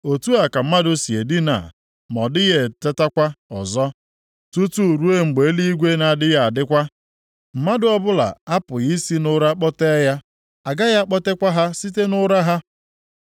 otu a ka mmadụ si e dinaa ma ọ dịghị etetakwa ọzọ; tutu ruo mgbe eluigwe na-agaghị adịkwa; mmadụ ọbụla apụghị i si nʼụra kpọtee ya, agaghị akpọtekwa ha site nʼụra ha.